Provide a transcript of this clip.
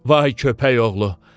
Vay köpək oğlu!